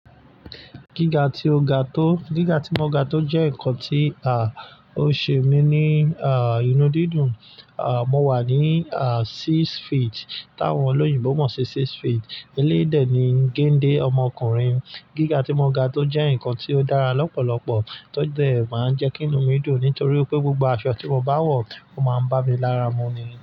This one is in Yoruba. Gíga tí mo ga tó jẹ́ ǹkan tí a, ó ṣe mí ní a, inú dídùn. A a, mo wà ní a, six feet. Táwọn olóyìnbo mọ̀ sí six feet. Eléyi de ni géńdé ọmọkùnrin. Gíga tí mo ga tó jẹ́ ǹkan tí ó dára lọ́pọ̀lọpọ̀ tó de máa ń jẹ́ kí inú mi dùn nítorí pé gbogbo àṣọ tí mo bá wọ̀, ó máa ń bá mi lára mu ni.